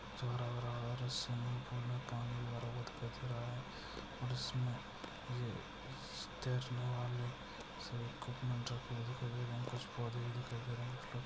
अच्छा लग रहा है जिसमें कि पूल में पानी भरा हुआ दिख रहा है और इसमें ये इस